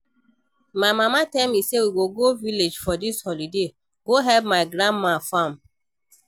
My mama tell me say we go go village for dis holiday go help my grandma farm